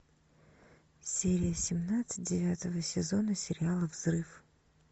серия семнадцать девятого сезона сериала взрыв